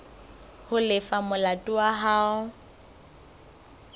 ho lefa molato wa hao